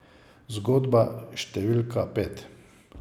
Zgodba številka pet.